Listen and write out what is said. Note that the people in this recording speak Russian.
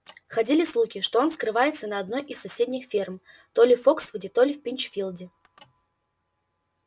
ходили слухи что он скрывается на одной из соседних ферм то ли в фоксвуде то ли в пинчфилде